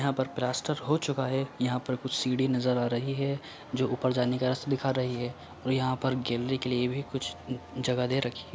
यहाँ पर प्लास्टर हो चूका है यहाँ पर कुछ सीढ़ी नजर आ रही है जो ऊपर जाने का रास्ता दिखा रही है और यहाँ पर गैलरी के लिए भी कुछ जगह दे रखी है।